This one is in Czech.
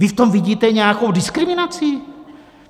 - Vy v tom vidíte nějakou diskriminaci?